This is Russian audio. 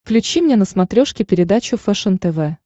включи мне на смотрешке передачу фэшен тв